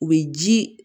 U bɛ ji